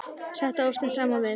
Settu ostinn saman við.